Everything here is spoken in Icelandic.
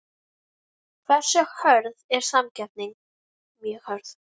Hversu hörð er samkeppnin?